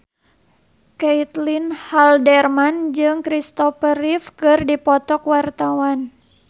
Caitlin Halderman jeung Christopher Reeve keur dipoto ku wartawan